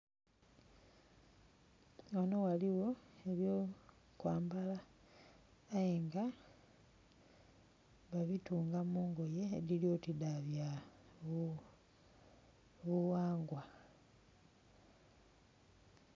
Ghano ghaligho ebyo kwambala aye nga balyoti badhitunga mu ngoye edhiri oti dha bya bughangwa.